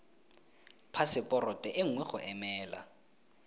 phaseporoto e nngwe go emela